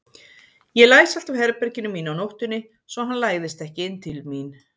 Ég læsi alltaf herberginu mínu á nóttunni svo hann læðist ekki inn til mín.